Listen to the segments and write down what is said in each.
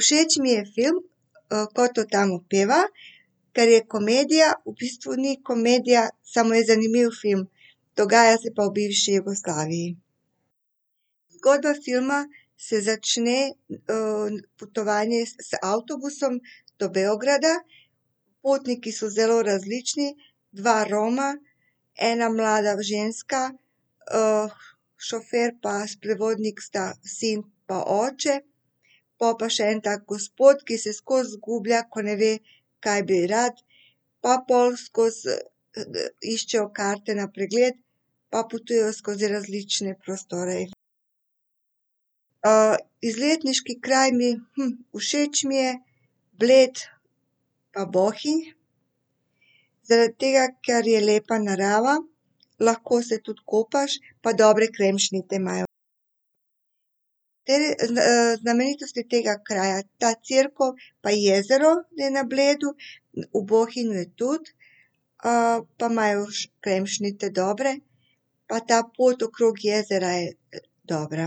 Všeč mi je film, Ko to tamo pjeva. Ker je komedija, v bistvu ni komedija, samo je zanimiv film. Dogaja se pa v bivši Jugoslaviji. Zgodba filma se začne, potovanje z avtobusom do Beograda. Potniki so zelo različni, dva Roma, ena mlada ženska, šofer pa sprevodnik sta sin pa oče. Pol pa še en tak gospod, ki se skozi izgublja, ko ne ve, kaj bi rad, pa pol skozi, iščejo karte na pregled. Pa potujejo skozi različne prostore. izletniški kraj mi, všeč mi je Bled pa Bohinj. zaradi tega, ker je lepa narava, lahko se tudi kopaš pa dobre kremšnite imajo. Te, znamenitosti tega kraja, ta cerkev pa jezero je na Bledu, v Bohinju je tudi. pa imajo še kremšnite dobre pa ta pot okrog jezera, je dobra.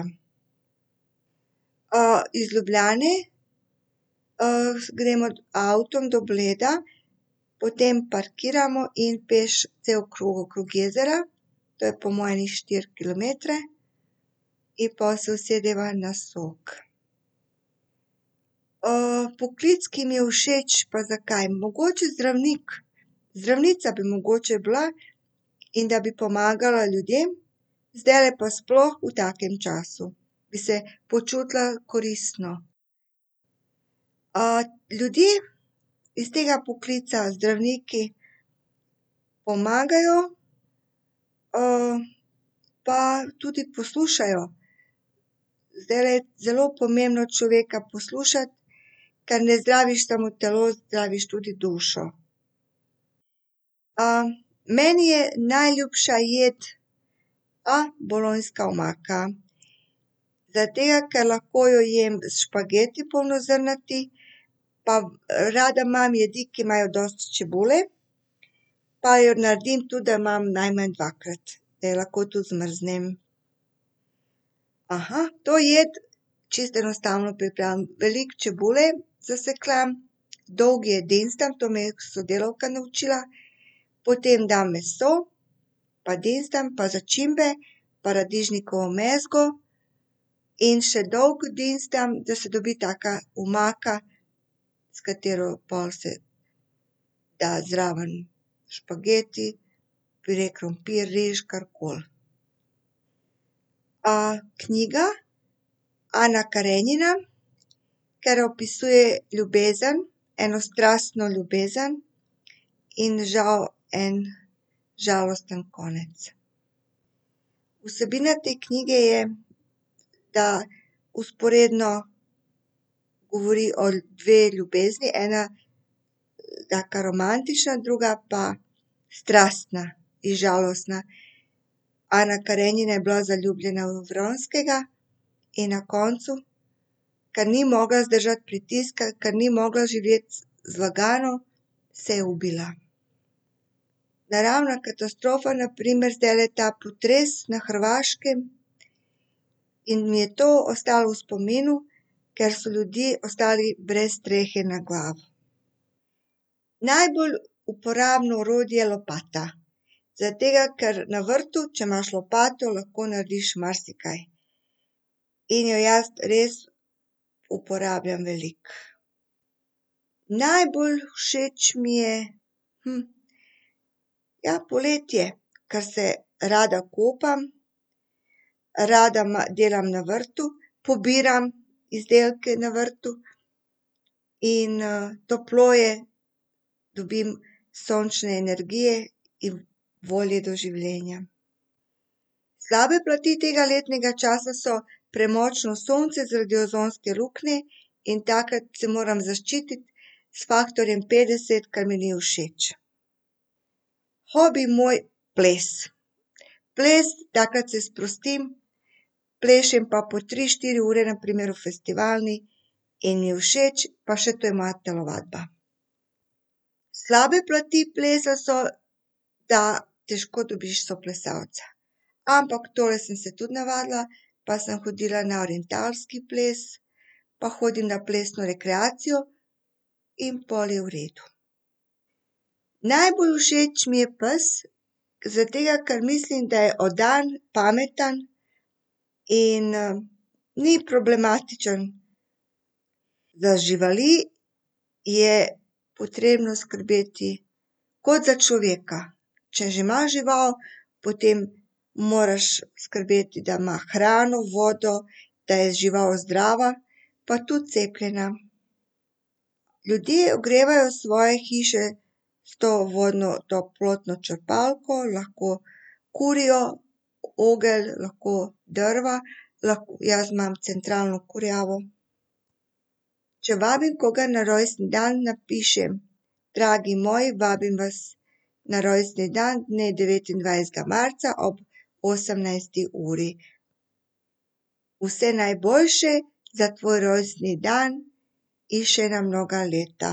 iz Ljubljane, gremo z avtom do Bleda, potem parkiramo in peš cel krog okrog jezera. To je po moje ene štiri kilometre. In pol se usedeva na sok. poklic, ki mi je všeč, pa zakaj, mogoče zdravnik. Zdravnica bi mogoče bila in da bi pomagala ljudem. Zdajle pa sploh v takem času bi se počutila koristno. ljudje iz tega poklica, zdravniki, pomagajo, pa tudi poslušajo. Zdajle je zelo pomembno človeka poslušati, ker ne zdraviš samo telo, zdraviš tudi dušo. meni je najljubša jed, bolonjska omaka. Zaradi tega, ker lahko jo jem s špageti polnozrnatimi. Pa rada imam jedi, ki imajo dosti čebule. Pa jo naredim tudi, da imam najmanj dvakrat, da jo lahko tudi zmrznem. to jed čisto enostavno pripravim, veliko čebule sesekljam, dolgo je dinstam, to me je sodelavka naučila. Potem dam meso pa dinstam, pa začimbe, paradižnikovo mezgo, in še dolgo dinstam, da se dobi taka omaka, s katero pol se dajo zraven špageti, pire krompir, riž, karkoli. knjiga Ana Karenina, ker opisuje ljubezen, eno strastno ljubezen in žal en žalosten konec. Vsebina te knjige je, da vzporedno govori o dveh ljubeznih, ena taka romantična, druga pa strastna in žalostna. Ana Karenina je bila zaljubljena v Vronskega in na koncu, ker ni mogla zdržati pritiska, ker ni mogla živeti zlagano, se je ubila. Naravna katastrofa, na primer zdajle ta potres na Hrvaškem, in mi je to ostalo v spominu, ker so ljudje ostali brez strehe nad glavo. Najbolj uporabno orodje, lopata. Zaradi tega, ker na vrtu, če imaš lopato, lahko narediš marsikaj. In jo jaz res uporabljam veliko. Najbolj všeč mi je, ja, poletje. Ker se rada kopam, rada delam na vrtu. Pobiram izdelke na vrtu in, toplo je, dobim sončne energije in volje do življenja. Slabe plati tega letnega časa so premočno sonce zaradi ozonske luknje. In takrat se moram zaščititi s faktorjem petdeset, kar mi ni všeč. Hobi moj, ples. Ples, takrat se sprostim, plešem pa po tri, štiri ure na primer v festivalni in mi je všeč pa še to je moja telovadba. Slabe pleti plesa so, da težko dobiš soplesalca. Ampak tole sem se tudi navadila pa sem hodila na orientalski ples pa hodim na plesno rekreacijo in pol je v redu. Najbolj všeč mi je pes, zaradi tega, ker mislim, da je vdan, pameten in, ni problematičen. Za živali je potrebno skrbeti kot za človeka. Če že imaš žival, potem moraš skrbeti, da ima hrano, vodo, da je žival zdrava pa tudi cepljena. Ljudje ogrevajo svoje hiše s to vodno, toplotno črpalko, lahko kurijo oglje, lahko drva, lahko, jaz imam centralno kurjavo. Če vabim koga na rojstni dan, napišem: "Dragi moj, vabim vas na rojstni dan dne devetindvajsetega marca ob osemnajsti uri." Vse najboljše za tvoj rojstni dan in še na mnoga leta.